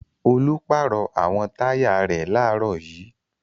Olú pàrọ̀ àwọn táyà rẹ̀ láàárọ̀ yìí.